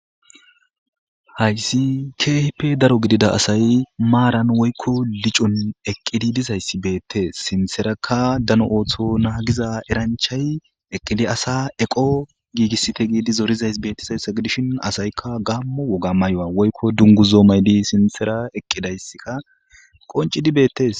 hayssi kehipe daro gidida asay maaran woykko licon eqqidi dizayssi beettees sinterakka dano ooththo naagiza eranchay eqqidi asa eqo giigissite giidi zoorizays beettizayssa gidishin asaykka gammo woga maywa woykko dungu zoomaydi sintera eqqidaysska qoncidi beettes